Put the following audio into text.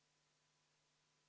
See on minu poolt kõik.